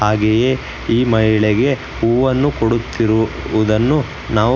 ಹಾಗೆಯೇ ಈ ಮಹಿಳೆಗೆ ಹೂವನ್ನು ಕೊಡುತ್ತಿರುವುದನ್ನು ನಾವು--